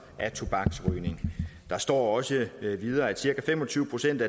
af tobaksrygning der står også videre at cirka fem og tyve procent